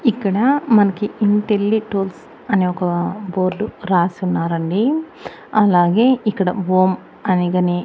ఇక్కడ మనకి ఇంటెలిటూల్స్ అని ఒక బోర్డ్ రాసి ఉన్నారండి. అలాగే ఇక్కడ ఓం అని కానీ --